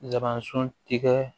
Labanson tigɛ